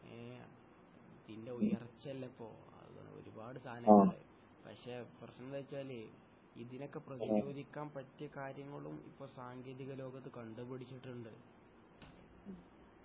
ഏഹ് ഇതിൻ്റെ ഉയർച്ചല്ലെ ഇപ്പൊ ഒരുപാട് സാനങ്ങളുണ്ടാവും പക്ഷെ പ്രശ്‌നം എന്താന്ന് വെച്ചാല് ഇതിനൊക്കെ പ്രതിരോധിക്കാൻ പറ്റിയ കാര്യങ്ങളും ഇപ്പൊ സാങ്കേതിക ലോകത്ത് കണ്ടുപിടിച്ചിട്ടുണ്ട്